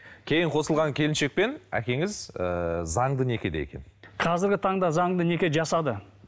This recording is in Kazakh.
кейін қосылған келіншекпен әкеңіз ыыы заңды некеде екен қазіргі таңда заңды неке жасады